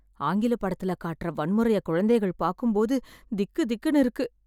ஆங்கில படத்துல காட்டுற வன்முறையை குழந்தைகள் பாக்கும் போது திக்கு திக்குனு இருக்கு